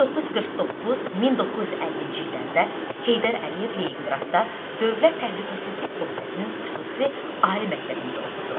1949-1950-ci illərdə Heydər Əliyev Leninqradda Dövlət Təhlükəsizlik Komitəsinin xüsusi ali məktəbində oxudu.